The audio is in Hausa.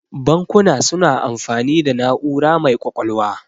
Bankuna suna amfani da na'ura mai ƙwaƙwalwa.